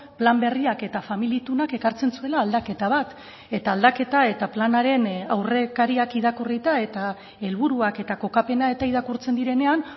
plan berriak eta famili itunak ekartzen zuela aldaketa bat eta aldaketa eta planaren aurrekariak irakurrita eta helburuak eta kokapena eta irakurtzen direnean